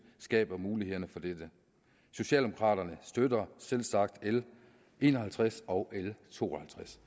skaber mulighederne for dette socialdemokraterne støtter selvsagt l en og halvtreds og l to